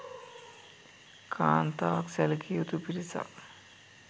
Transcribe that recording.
කාන්තාවන් සැලකිය යුතු පිරිසක්